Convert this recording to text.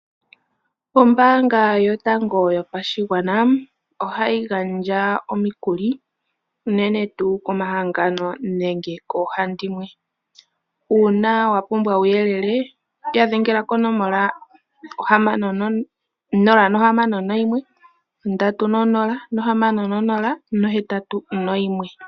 Ombaanga yotango yopashigwana ohayi gandja omikuli uunene tuu komahangano nenge koohandimwe. Uuna wapumbwa uuyelele ya dhengela konomola 061306081.